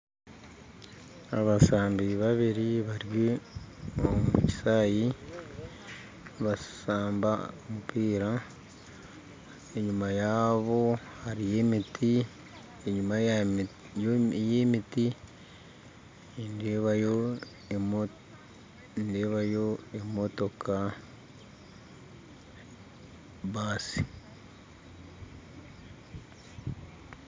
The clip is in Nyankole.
Abashambi babiri bari omu kishaayi nibashamba omupiira, enyima yaabo hariyo emiti enyima y'emiti nindeebayo nindeebayo emotoka baasi